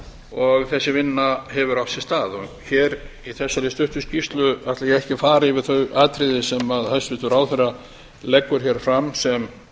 og þessi vinna hefur átt sér stað í þessari stuttu skýrslu ætla ég ekki að fara yfir þau atriði sem hæstvirtur ráðherra leggur hér fram sem